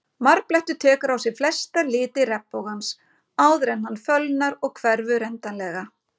Marblettur tekur á sig flesta liti regnbogans áður en hann fölnar og hverfur endanlega.